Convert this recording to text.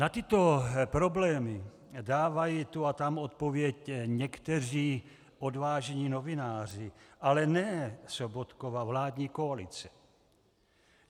Na tyto problémy dávají tu a tam odpověď někteří odvážní novináři, ale ne Sobotkova vládní koalice.